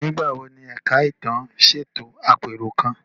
Nígbà wo ni Ẹ̀ka Ìtàn ṣètò àpérò kan?